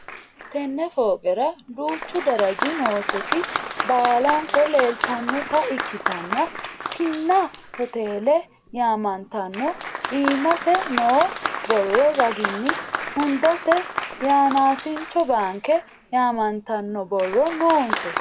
Tenne fooqera duuchchu darajji nooseti baallanko leelittannotta ikittanna Pinna hootele yaamanttanno iimmasse noo borro raginni hundasse yanaasincho baanke yaamanttanno borronno noose